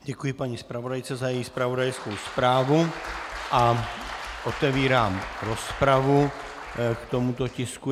Děkuji paní zpravodajce za její zpravodajskou zprávu a otevírám rozpravu k tomuto tisku.